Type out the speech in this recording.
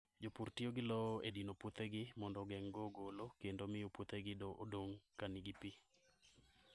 Jopur tiyo gi lowo e dino puothegi mondo ogeng'go ogolo kendo miyo puothegi odong' ka nigi pi.